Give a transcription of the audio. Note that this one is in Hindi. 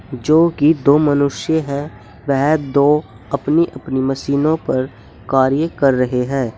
जो कि दो मनुष्य है वे दो अपनी अपनी मशीनों पर कार्य कर रहे हैं।